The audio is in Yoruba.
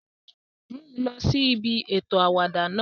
Mu u lọ si ibi eto awada náa!